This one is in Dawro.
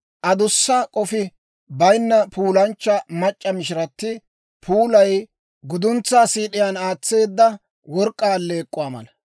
Adussa k'ofi bayinna puulanchcha mac'c'a mishirati puulay guduntsaa siid'iyaan aatseedda work'k'aa alleek'k'uwaa mala.